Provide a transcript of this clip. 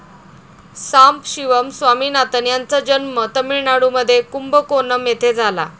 सांबशिवम स्वामीनाथन यांचा जन्म तमिळनाडूमध्ये कुंभकोणम येथे झाला.